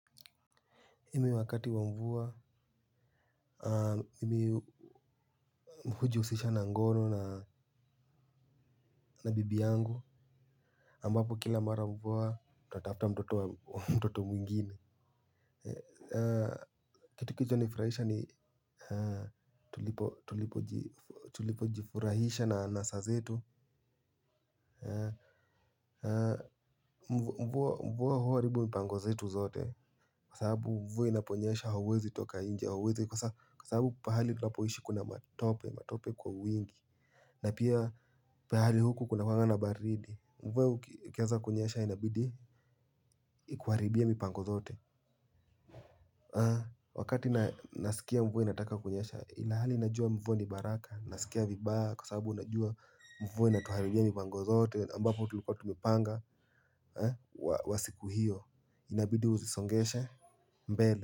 Mimi wakati wa mvua, mmi huji usisha na ngono na bibi yangu ambapo kila mara mvua, tatafuta mtoto wa mtoto mwingine. Kitu kio nifurahisha ni tulipo jifurahisha na anasa zetu. Mvua huwaribu mpango zetu zote kwa sababu mvua inaponyesha hauwezi toka inje hauwezi kwa sababu pahali tunapoishi kuna matope kwa wingi. Na pia pahali huku kuna kuanga na baridi mvua ukianza kunyesha inabidi ikuharibie mipango zote. Wakati nasikia mvwe inataka kunyesha ilahali inajua mvua ni baraka nasikia vibaya kwa sababu unajua mvua inatuharibia mipango zote ambapo tulukuwa tumepanga. Wa siku hiyo inabidi uzisongeshe mbele.